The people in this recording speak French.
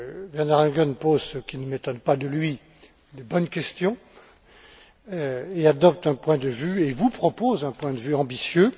Werner Langen pose ce qui ne m'étonne pas de lui de bonnes questions et adopte un point de vue, et vous propose un point de vue ambitieux.